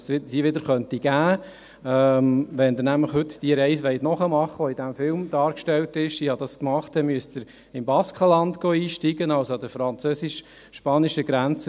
Wenn sie heute die im Film dargestellte Reise machen wollten – ich habe diese gemacht –, müssen Sie im Baskenland einsteigen, also an der französisch-spanischen Grenze.